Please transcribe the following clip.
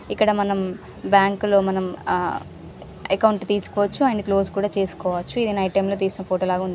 ఇక్కడ మనం బ్యాంకు లో మనం ఆఆ అకౌంట్ తీస్కోవచ్చు.అండ్ క్లోజ్ కూడా చేసుకోవచ్చూ. ఇది నైట్ టైం లో తీసిన ఫొటో లాగా వుంది.